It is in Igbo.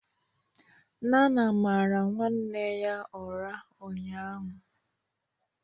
Nana mara nwanne ya ụra ụnyahụ